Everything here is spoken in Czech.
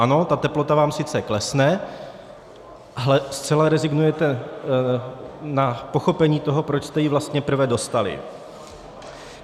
Ano, ta teplota vám sice klesne, ale zcela rezignujete na pochopení toho, proč jste ji vlastně prve dostali.